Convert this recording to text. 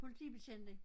Politibetjent ik?